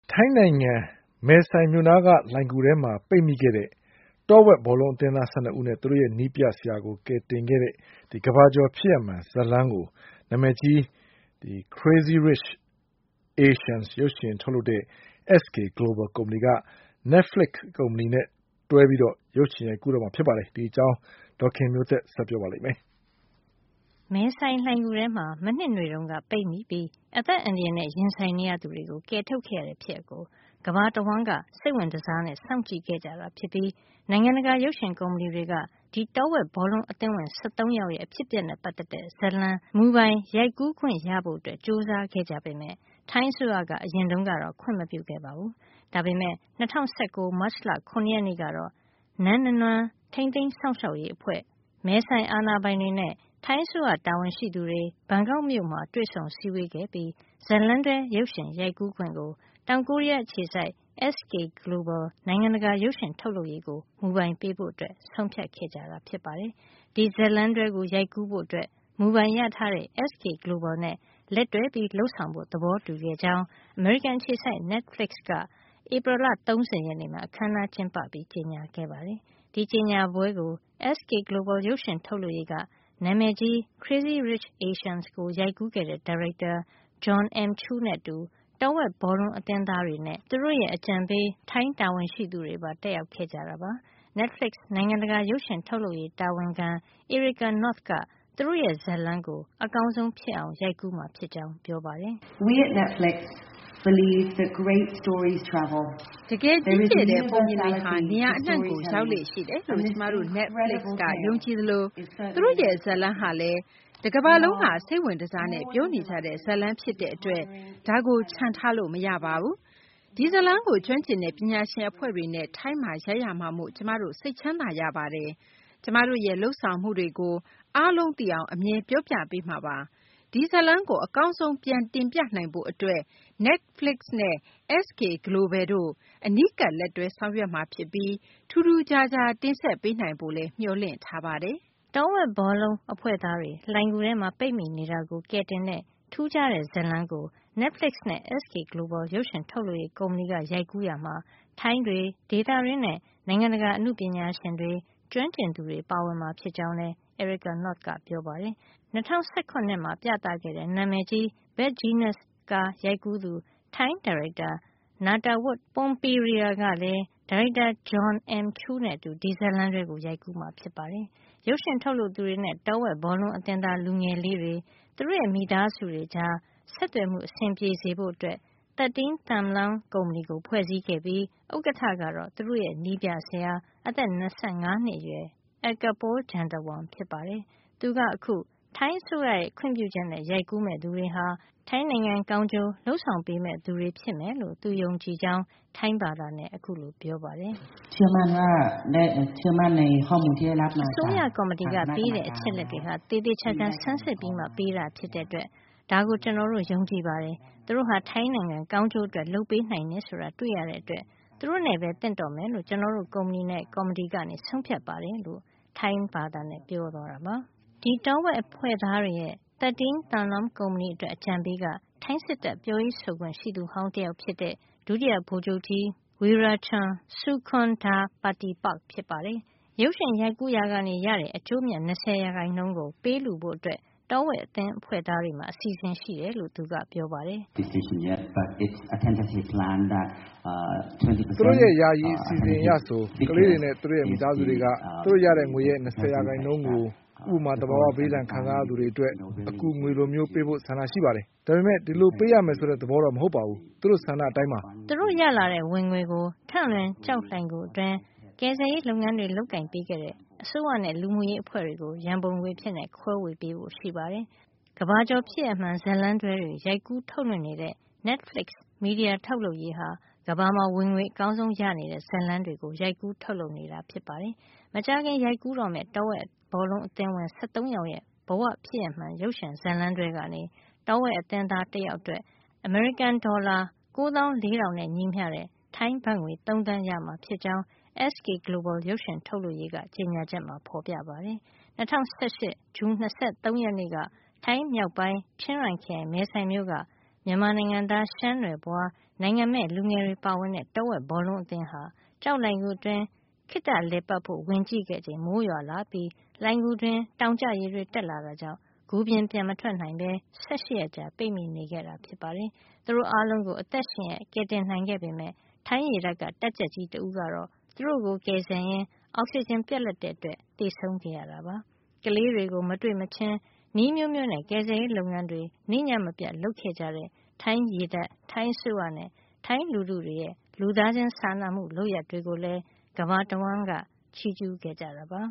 ထိုင်းနိုင်ငံ မဲဆိုင်က Tham Luang လှိုဏ်ဂူထဲမှာ ပိတ်မိခဲ့တဲ့ တောဝက်ဘောလုံး အသင်းသား ၁၂ ယောက်နဲ့ သူတို့ရဲ့နည်းပြဆရာကို ကယ်တင်ခဲ့တဲ့ ကမ္ဘာကျော် ဖြစ်ရပ်မှန် ဇာတ်လမ်းကို နာမည်ကြီး "Crazy Rich Asians" ရုပ်ရှင်ထုတ်လုပ်တဲ့ SK GLOBAL ကုမ္ပဏီက Netflix နဲ့ လက်တွဲပြီး ရုပ်ရှင်ရိုက်ကူးတော့မှာ ဖြစ်ပါတယ်။ အပြည့်အစုံကို ဒေါ်ခင်မျိုးသက်က ပြောပြပေးမှာပါ။ မဲဆိုင်လှိုဏ်ဂူထဲမှာ မနှစ်နွေတုန်းက ပိတ်မိပြီး အသက်အန္တရာယ်နဲ့ ရင်ဆိုင်နေရသူတွေကို ကယ်ထုတ်ခဲ့ရတဲ့ ဖြစ်ရပ်ကို ကမ္ဘာတဝှမ်းက စိတ်ဝင်တစားနဲ့ စောင့်ကြည့်ခဲ့ကြတာ ဖြစ်ပြီး နိုင်ငံတကာ ရုပ်ရှင်ကုမ္ပဏီတွေက ဒီတောဝက်ဘောလုံး အသင်းဝင် ၁၃ ယောက်ရဲ့ အဖြစ်အပျက်နဲ့ ပတ်သက်တဲ့ ဇာတ်လမ်းမူပိုင် ရိုက်ကူးခွင့်ရဖို့ ကြိုးစားခဲ့ကြ ပေမယ့် ထိုင်းအစိုးရက အရင်တုန်းကတော့ ခွင့်မပြုခဲ့ပါဘူး။ ဒါပေမဲ့ ၂၀၁၉ ခုနှစ်၊ မတ်လ ၇ ရက်နေ့ကတော့ နန်းနနွမ်း (အိပ်ပျော်နေတဲ့ ရှမ်းမင်းသမီး တောင်တန်း) ထိန်းသိမ်း စောင့်ရှောက်ရေးအဖွဲ့ မဲဆိုင်အာဏာပိုင်တွေနဲ့ ထိုင်းအစိုးရ တာဝန်ရှိသူတွေ ဘန်ကောက်မြို့မှာ တွေ့ဆုံစည်းဝေးခဲ့ပြီး ဇာတ်လမ်းတွဲ ရုပ်ရှင်ရိုက်ကူးခွင့်ကို တောင်ကိုရီးယား အခြေစိုက် SK GLOBAL နိုင်ငံတကာ ရုပ်ရှင်ထုတ်လုပ်ရေးကို မူပိုင်ပေးဖို့ ဆုံးဖြတ်ခဲ့ကြတာ ဖြစ်ပါတယ်။ ဒီဇာတ်လမ်းတွဲကို ရိုက်ကူးဖို့ မူပိုင်ရထားတဲ့ SK GLOBAL နဲ့ လက်တွဲလုပ်ဆောင်ဖို့ သဘောတူခဲ့ကြောင်း အမေရိကန် အခြေစိုက် Netflixက ဧပြီလ ၃၀ ရက်နေ့မှာ အခန်းအနားကျင်းပပြီး ကြေညာခဲ့ပါတယ်။ ဒီကြေညာပွဲကို SK GLOBAL ရုပ်ရှင်ထုတ်လုပ်ရေးက နာမည်ကြီး "Crazy Rich Asians" ကို ရိုက်ကူးတဲ့ ဒါရိုက်တာ Jon M. Chu နဲ့အတူ တောဝက် ဘောလုံးအသင်းသားတွေနဲ့ သူတို့ရဲ့ အကြံပေး ထိုင်းတာဝန်ရှိသူတွေပါ တက်ရောက်ခဲ့ကြပါတယ်။ Netflix နိုင်ငံတကာရုပ်ရှင်ထုတ်လုပ်ရေး တာဝန်ခံ Erika North က သူတို့ရဲ့ ဇာတ်လမ်းကို အကောင်းဆုံး ဖြစ်အောင် ရိုက်ကူးမှာ ဖြစ်ကြောင်း ပြောပါတယ်။ "တကယ် ကြီးကျယ်တဲ့ပုံပြင်တွေဟာ နေရာအနှံ့ကို ရောက်လေ့ရှိတယ်လို့ ကျမတို့ Netflix က ယုံကြည်သလို သူတို့ရဲ့ ဇာတ်လမ်းဟာလည်း တကမ္ဘာလုံးက စိတ်ဝင်တစားနဲ့ ပြောနေကြတဲ့ဇာတ်လမ်း ဖြစ်တဲ့အတွက် ဒါကို ချန်ထားလို့ မရပါဘူး။ ဒီဇာတ်လမ်းကို ကျွမ်းကျင်တဲ့ ပညာရှင် အဖွဲ့တွေနဲ့ ထိုင်းမှာ ရိုက်ရမှာမို့ ကျမတို့ စိတ်ချမ်းသာရပါတယ်။ ကျမတို့ရဲ့ လုပ်ဆောင်မှုတွေကို အားလုံးသိအောင် အမြဲ ပြောပြပေးမှာပါ။ ဒီဇာတ်လမ်းကို အကောင်းဆုံး ပြန်တင်ပြနိုင်ဖို့အတွက် Netflix နဲ့ SK Global တို့ အနီးကပ်လက်တွဲ ဆောင်ရွက်မှာ ဖြစ်ပြီး ထူးထူးခြားခြား တင်ဆက်ပေးနိုင်ဖို့လည်း မျှော်လင့်ထားပါတယ်။" တောဝက်ဘောလုံး အဖွဲ့သားတွေ လှိုဏ်ဂူထဲ ပိတ်မိနေတာကို ကယ်တင်တဲ့ ထူးခြားတဲ့ဇာတ်လမ်းကို Netflix နဲ့ SK Global ရုပ်ရှင် ထုတ်လုပ်ရေး ကုမ္ပဏီက ရိုက်ကူးရာမှာ ထိုင်းတွေ ဒေသတွင်းနဲ့ နိုင်ငံတကာ အနုပညာရှင်တွေ၊ ကျွမ်းကျင်သူတွေပါဝင်မှာ ဖြစ်ကြောင်းလည်း Erika North ကပြောပါတယ်။ ၂၀၁ရ မှာ ပြသခဲ့တဲ့ နာမည်ကြီး Bad Genius ကားရိုက်ကူးသူ ထိုင်း ရုပ်ရှင်ဒါရိုက်တာ Nattawut Poonpiriya က လည်း ဒါရိုက်တာ Jon M. Chu နဲ့အတူ ဒီဇတ်လမ်းတွဲကို ရိုက်ကူးမှာ ဖြစ်ပါတယ်။ ရုပ်ရှင်ထုတ်လုပ်သူတွေနဲ့ တောဝက်ဘောလုံးအသင်းသား လူငယ်လေးတွေ၊ သူတို့ရဲ့မိသားစုတွေကြား ဆက်သွယ်မှု အဆင်ပြေစေဖို့ 13 Thumluang ကုမ္ပဏီကို ဖွဲ့စည်းခဲ့ပြီး ဥက္ကဌကတော့ သူတို့ရဲ့ နည်းပြဆရာ အသက် ၂၅ နှစ်အရွယ် Eakapol Jantawong ဖြစ်ပါတယ်။ သူက အခု ထိုင်းအစိုးရရဲ့ ခွင့်ပြုချက်နဲ့ ရိုက်ကူးမယ့် သူတွေဟာ ထိုင်းနိုင်ငံကောင်းကျိုး လုပ်ဆောင်ပေးမယ့် သူတွေ ဖြစ်မယ်လို့ သူယုံကြည်ကြောင်း ပြောပါတယ်။ “အစိုးရကော်မတီကပေးတဲ့ အချက်အလက်တွေဟာ သေသေချာချာ ဆန်းစစ်ပြီးမှ ပေးတာဖြစ်တဲ့အတွက် ဒါကို ကျနော်တို့ ယုံကြည်ပါတယ်။ သူတို့ဟာ ထိုင်းနိုင်ငံကောင်းကျိုး အတွက်လုပ်ပေးနိုင်တယ် ဆိုတာ တွေ့ရတဲ့အတွက် သူတို့နဲ့ပဲ သင့်တော်မယ်လို့ ကျနော်တို့ကုမ္ပဏီနဲ့ ကော်မတီက ဆုံးဖြတ်ပါတယ်။” ဒီတော်ဝက်အဖွဲ့သားတွေရဲ့ 13 Thumluang ကုမ္ပဏီ အတွက် အကြံပေးက ထိုင်းစစ်တပ် ပြောရေးဆိုခွင့်ရှိသူဟောင်း တယောက်ဖြစ်တဲ့ ဒုတိယ ဗိုလ်ချုပ်ကြီး Werachon Sukondhapatipak ဖြစ်ပါတယ်။ ရုပ်ရှင်ရိုက်ကူးရာက ရရှိတဲ့ အကျိုးအမြတ် ၂၀ % ကို ပေးလှုဖို့ တောဝက်အသင်းအဖွဲ့သားတွေမှာ အစီအစဉ်ရှိတယ်လို့ သူကပြောပါတယ်။ “သူတို့ရဲ့ ယာယီ အစီအစဉ်အရဆို ခလေးတွေနဲ့ သူတို့ရဲ့ မိသားစုတွေက သူတို့ရတဲ့ငွေရဲ့ ၂၀ % ကို ဥပမာ - သဘာဝဘေးဒဏ်ခံစား ရသူတွေ အတွက် အကူငွေလိုမျိုး ပေးဖို့ ဆန္ဒရှိနေပါတယ်။ ဒါပေမယ့် ဒီလိုပေးရမယ် ဆိုတဲ့ သဘောမဟုတ်ပါဘူး။ သူတို့ဆန္ဒအရပါ။” သူတို့ ရလာတဲ့ ဝင်ငွေကို ထန့်လွင် ကျောက်လှိုဏ်ဂူ အတွင်း ကယ်ဆယ်ရေး လုပ်ငန်းတွေ လုပ်ကိုင်ပေးခဲ့တဲ့ အစိုးရနဲ့လူမှုရေး အဖွဲ့တွေကို ရန်ပုံငွေအဖြစ် ခွဲပေးဖို့ရှိပါတယ်။ ကမ္ဘာကျော် ဖြစ်ရပ်မှန် ဇာတ်လမ်းတွဲတွေ ရိုက်ကူး ထုတ်လွှင့်နေတဲ့ Netflix မီဒီယာ ထုတ်လုပ်ရေးဟာ ကမ္ဘာမှာ ဝင်ငွေ အကောင်းဆုံး ရနေတဲ့ ဇာတ်လမ်းတွေကို ရိုက်ကူး ထုတ်လုပ်နေတာပါ။ မကြာခင် ရိုက်ကူးတော့မယ့် တောဝက် ဘောလုံးအသင်းဝင် ၁၃ ယောက်ရဲ့ဘ၀ ဖြစ်ရပ်မှန် ရုပ်ရှင်ဇာတ်လမ်းတွဲကနေ တောဝက်အသင်းသားတယောက်အတွက် အမေရိကန်ဒေါ်လာ ၉, ၄၀၀၀ ထိုင်းဘတ်ငွေ ၃ သန်းရမှာ ဖြစ်ကြောင်း SK Global ရုပ်ရှင်ထုတ်လုပ်ရေးက ကြေညာချက်မှာ ဖေါ်ပြထားပါတယ်။ ၂၀၁၈ ခုနှစ် ဇွန်လ ၂၃ ရက်နေ့က ထိုင်းမြောက်ပိုင်း ချင်းရိုင်ခရိုင် မဲဆိုင်မြို့က မြန်မာနိုင်ငံသား ရှမ်းနွယ်ဖွား နိုင်ငံမဲ့ လူငယ်တွေ ပါဝင်တဲ့ တောဝက်ဘောလုံး အသင်းဟာ ကျောက်လှိုဏ်ဂူအတွင်း ခေတ္တလည်ပတ်ဖို့ ဝင်ကြည့်ခဲ့တဲ့အချိန် မိုးရွာလာပြီး လှိုဏ်ဂူအတွင်းမှာ တောင်ကျရေတွေ တက်လာတာကြောင့် ဂူပြင်ကို ပြန်မထွက်နိုင်တော့ပဲ ၁၈ ရက်ကြာ ပိတ်မိနေခဲ့ကြတာပါ။ သူတို့အားလုံးကို အသက်ရှင်ရက် ကယ်တင်နိုင်ခဲ့ပေမယ့် ထိုင်းရေတပ်က တပ်ကြပ်ကြီး တဦးကတော့ သူတို့ကို ကယ်ဆယ်ရင်းနဲ့ အောက်စီဂျင် ပြတ်လပ်ခဲ့တာကြောင့် သေဆုံးခဲ့ရပါတယ်။ ကလေးတွေကို မတွေ့မချင်း နည်းအမျိုးမျိုးနဲ့ ကယ်ဆယ်ရေး လုပ်ငန်းတွေ နေ့ညမပြတ် လုပ်ခဲ့ကြတဲ့ ထိုင်းရေတပ်၊ ထိုင်းအစိုးရနဲ့ ထိုင်းလူထုတွေရဲ့ လူသားချင်း စာနာမူလုပ်ရပ် တွေကိုလည်း ကမ္ဘာတဝှမ်းလုံးက ချီးကျူးခဲ့ကြတာပါ